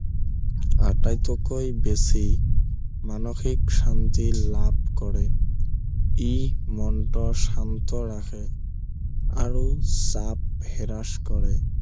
আটাইতকৈ বেছি মানসিক শান্তি লাভ কৰে ই মনটো শান্ত ৰাখে আৰু শাঁত বিৰাজ কৰে